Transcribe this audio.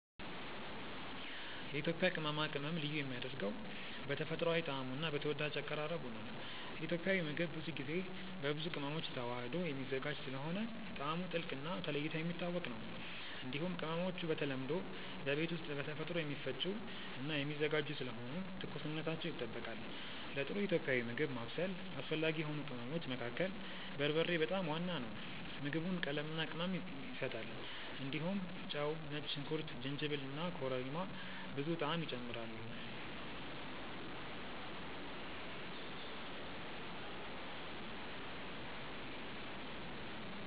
የኢትዮጵያ ቅመማ ቅመም ልዩ የሚያደርገው በተፈጥሯዊ ጣዕሙ እና በተወዳጅ አቀራረቡ ነው። ኢትዮጵያዊ ምግብ ብዙ ጊዜ በብዙ ቅመሞች ተዋህዶ የሚዘጋጅ ስለሆነ ጣዕሙ ጥልቅ እና ተለይቶ የሚታወቅ ይሆናል። እንዲሁም ቅመሞቹ በተለምዶ በቤት ውስጥ በተፈጥሮ የሚፈጩ እና የሚዘጋጁ ስለሆኑ ትኩስነታቸው ይጠበቃል። ለጥሩ ኢትዮጵያዊ ምግብ ማብሰል አስፈላጊ የሆኑ ቅመሞች መካከል በርበሬ በጣም ዋና ነው። ምግቡን ቀለምና ቅመም ይሰጣል። እንዲሁም ጨው፣ ነጭ ሽንኩርት፣ ጅንጅብል እና ኮረሪማ ብዙ ጣዕም ይጨምራሉ።